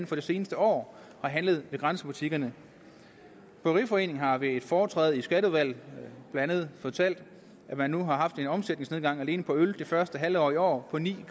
for det seneste år har handlet i grænsebutikkerne bryggeriforeningen har ved et foretræde i skatteudvalget blandt andet fortalt at man nu har haft en omsætningsnedgang alene for øl det første halvår i år på ni